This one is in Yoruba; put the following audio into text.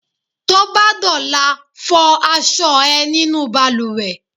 T'óbá d'ọ̀la, fọ aṣọ ẹ nínú balùwẹ̀!